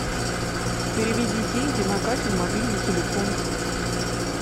переведи деньги на катин мобильный телефон